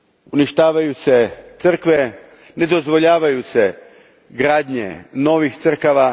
Uništavaju se crkve, ne dozvoljavaju se gradnje novih crkava.